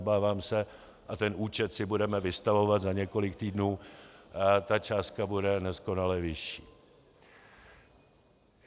Obávám se, a ten účet si budeme vystavovat za několik týdnů, ta částka bude neskonale vyšší.